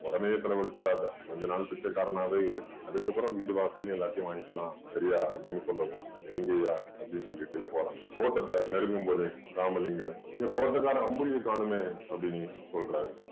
உடனே செலவழிச்சிறாதே கொஞ்ச நாள் பிச்சைக்காரனாவே இரு அதுக்கப்புறம் வீடு வாசல் எல்லாத்தையும் வாங்கிக்கலாம் சரியா அப்படின்னு சொல்லவும் சரிங்கய்யா அப்படின்னு சொல்லிட்டு போறான் தோட்டத்தை நெருங்கும் போது ராமலிங்கம் இந்த தோட்டக்காரன் அம்புலியை காணோமே அப்படின்னு சொல்றாரு